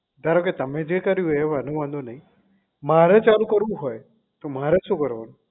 ધારો કે તમે જે કર્યું એનો કોઈ વાંધો નહીં મારે ચાલુ કરવું હોય તો મારે શું કરવાનું